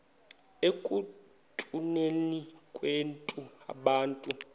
ekutuneni kwethu abantu